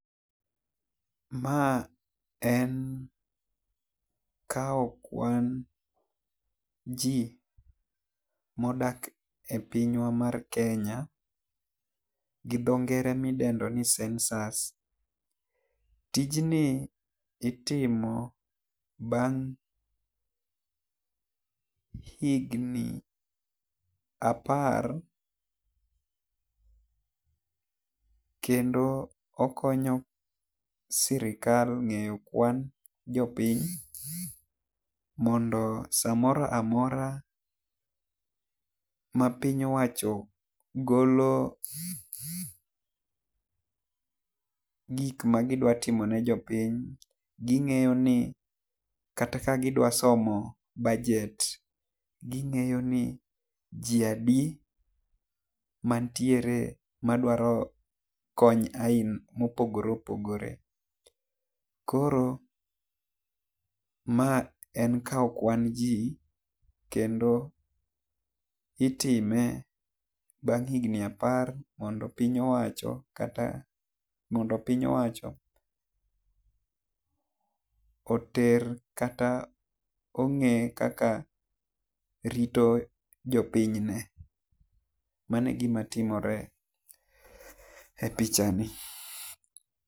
Ma en kawo kuan ji ma odak e pinywa mar kenya gi dho ngere mi idendo ni census. Tijni itimo bang' higni apar kendo okonyo sirkal ng'eyo kuan jo piny mondo sa moro amora ma piny owacho golo gik ma gi dwa timo ne jopiny gi ng'eyo ni kata ka gi dwa somo bajet gi ng'eyo ni ji adi ma nitiere ma dwaro kony aina ma opogore opogore. Koro ma en kawo kuan ji kendo itime bang' higni apar mondo piny owacho kata mondo piny owacho oter kata ong'e kaka rito jo piny ne. Mano e gi ma timore e picha ni.